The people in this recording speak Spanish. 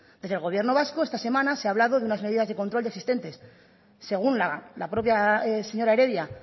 desde el gobierno vasco esta semana se ha hablado de unas medidas de control ya existentes según la propia señora heredia